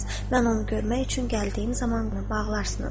Mən onu görmək üçün gəldiyim zaman onu bağlarsınız.